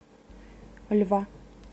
льва